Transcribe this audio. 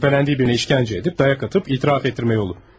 Şüpheylendiği birinə işgəncə edib, dayak atıp itiraf etdirmə yolu.